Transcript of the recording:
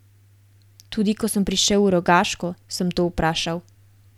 Tudi ko sem prišel v Rogaško, sem to vprašal.